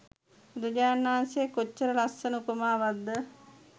බුදුරජාණන් වහන්සේ කොච්චර ලස්සන උපමාවක්ද